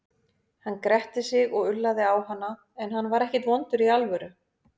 Hann gretti sig og ullaði á hana, en hann var ekkert vondur í alvöru.